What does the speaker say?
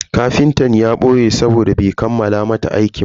Kafintan ya boye sabode bai kammala mata aikinta ba.